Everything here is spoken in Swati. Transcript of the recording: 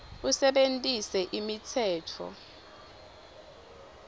usebentise imitsetfo